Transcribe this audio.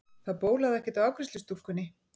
Það bólaði ekkert á afgreiðslustúlkunni.